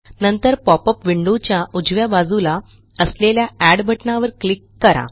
नंतर पॉपअप विंडोच्या उजव्या बाजूला असलेल्या एड बटणावर क्लिक करा